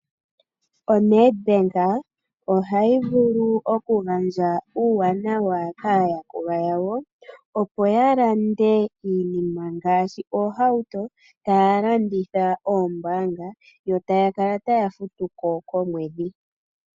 ONEDBANK ohayi vulu oku gandja uuwanawa kaayakulwa yawo, opo ya lande iinima ngaashi oohauto, taya landitha koombaanga, yo taya kala taya futu ko komwedhi.